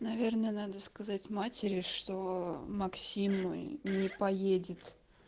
наверное надо сказать матери что максим не поедет